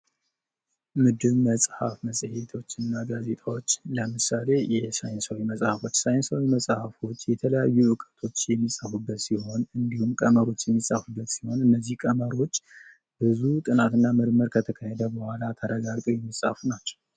መድብል መጽሐፍ መጽሔቶች እና ጋዜጦች ለምሳሌ ሳይንሳዊ መጽሐፍቶች ሳይንሳዊ መጽሐፍቶች የተለያዩ ዕውቀቶች የሚፃፉበት ሲሆን እንዲሁም ቀመሮች የሚፃፉበት ሲሆን እነዚህ ቀመሮች ብዙ ጥናትና ምርምር ከተካሄደ በኋላ ተረጋግጠው የሚጻፉ ናቸው::